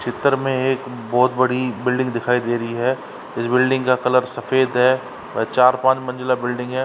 चित्तर में एक बहोत बड़ी बिल्डिंग दिखाई दे रही है। इस बिल्डिंग का कलर सफेद है व चार-पांच मंजिला बिल्डिंग है।